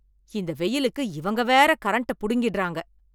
இந்த வெயிலுக்கு இவங்க வேற கரண்ட்ட புடுங்கிறாங்க.